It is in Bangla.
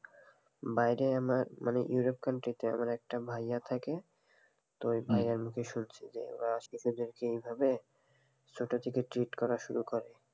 বাইরে আমার মানে ইউরোপ country আমার একটা ভাইয়া থাকে তো এই ভাইয়ার মুখে শুনছি যে ওরা আসলে ওদেরকে এই ভাবে ছোটো থেকে treat করা শুরু করে,